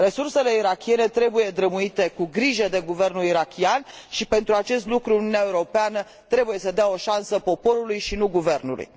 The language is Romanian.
Resursele irakiene trebuie drămuite cu grijă de guvernul irakian și, pentru acest lucru, Uniunea Europeană trebuie să dea o șansă poporului, și nu guvernului.